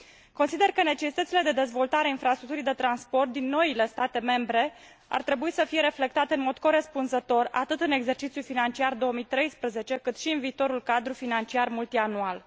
Consider că necesitățile de dezvoltare a infrastructurii de transport din noile state membre ar trebui să fie reflectate în mod corespunzător atât în exercițiul financiar 2013, cât și în viitorul cadru financiar multianual.